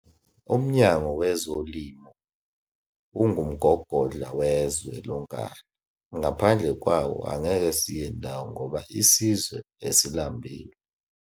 Umnyango wezolimo ungumgogondla wezwe lonkana, ngaphandle kwawo angeke siyendawo ngoba isizwe esilambile